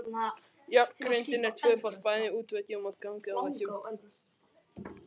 Járngrindin er tvöföld bæði í útveggjum og gangaveggjum.